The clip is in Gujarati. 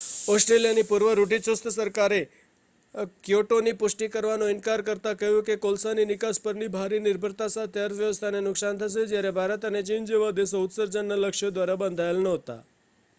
ઑસ્ટ્રેલિયાની પૂર્વ રૂઢિચુસ્ત સરકારે ક્યોટોની પુષ્ટિ કરવાનો ઇનકાર કરતાં કહ્યું કે તે કોલસાની નિકાસ પરની ભારી નિર્ભરતા સાથે અર્થવ્યવસ્થાને નુકસાન થશે જ્યારે ભારત અને ચીન જેવા દેશો ઉત્સર્જનના લક્ષ્યો દ્વારા બંધાયેલા નહોતા